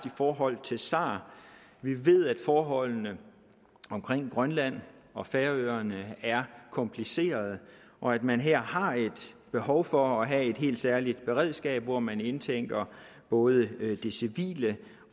i forhold til sar vi ved at forholdene omkring grønland og færøerne er komplicerede og at man her har et behov for at have et helt særligt beredskab hvor man indtænker både det civile